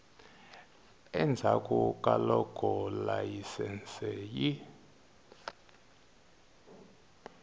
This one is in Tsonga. endzhaku ka loko layisense yi